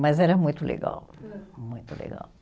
Mas era muito legal, muito legal.